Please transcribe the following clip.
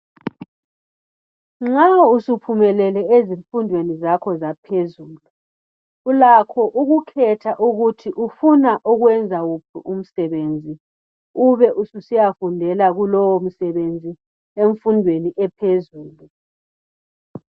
Nxa usuphumelele ezifundweni zakho zaphezulu ulakho ukukhetha ukuthi ufuna ukwenza wuphi umsebenzi ube ususiyafundela kulowo msebenzi emfundweni ephezulu.